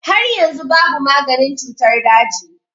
Har yanzu babu maganin cutar daji.